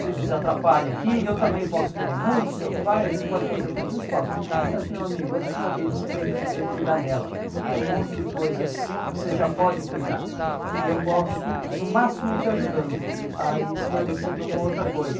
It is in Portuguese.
se desatrapalha aqui eu também posso querer muito seu pai a gente pode fazer todos os esforços mas meu amigo a sua vida você tem que saber cuidar dela tem um monte de coisas que você já pode cuidar e eu posso no máximo ir te ajudando a ir esclarecendo uma outra coisa